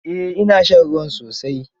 Eh, ina shan ruwa sosai.